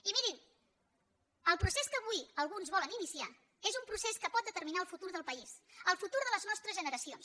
i mirin el procés que avui alguns volen iniciar és un procés que pot determinar el futur del país el futur de les nostres generacions